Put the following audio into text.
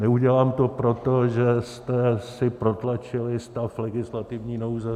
Neudělám to, protože jste si protlačili stav legislativní nouze.